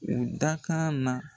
U dakan na.